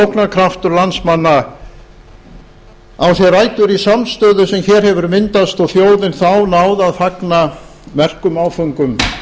garði sóknarkraftur landsmanna á sér rætur í samstöðu sem hér hefur myndast og þjóðin þá náð að fagna merkum áföngum